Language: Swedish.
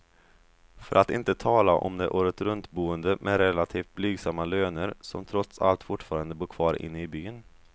För att inte tala om de åretruntboende med relativt blygsamma löner, som trots allt fortfarande bor kvar inne i byn.